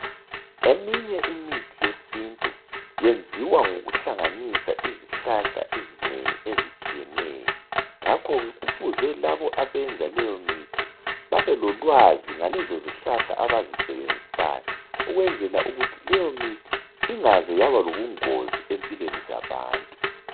Eminye imithi yesintu yenziwa ngokuhlanganisa izihlahla ezinengi ezitshiyeneyo. Ngakhoke Kufuze labo abenza leyo mithi babelolwazi ngalezo zihlahla abazisebenzisayo. Ukwenzela ukuthi leyo mithi ingaze Yaba lobungozi empilweni zabantu.